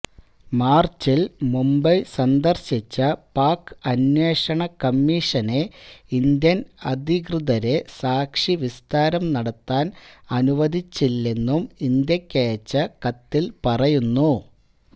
മാര്ച്ചില് മുംബൈ സന്ദര്ശിച്ച പാക് അന്വേഷണ കമ്മീഷനെ ഇന്ത്യന് അധികൃതരെ സാക്ഷിവിസ്താരം നടത്താന് അനുവദിച്ചില്ലെന്നും ഇന്ത്യക്കയച്ച കത്തില് പറയുന്നു